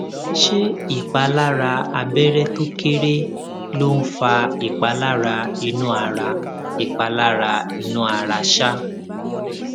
ṣé ìpalára abẹrẹ tó kéré ló ń fa ìpalára inú ara ìpalára inú ara um